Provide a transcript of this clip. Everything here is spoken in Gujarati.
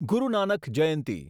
ગુરુ નાનક જયંતી